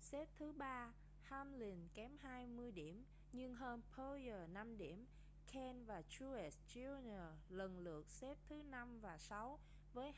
xếp thứ ba hamlin kém hai mươi điểm nhưng hơn bowyer năm điểm kahne và truex jr lần lượt xếp thứ năm và sáu với